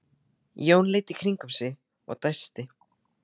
Jón leit í kringum sig og dæsti.